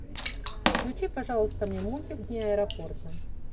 включи пожалуйста мне мультик дни аэропорта